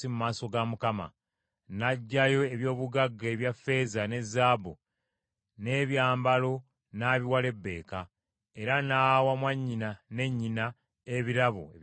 N’aggyayo eby’obugagga ebya ffeeza ne zaabu, n’ebyambalo n’abiwa Lebbeeka, era n’awa mwannyina ne nnyina ebirabo eby’omuwendo omungi.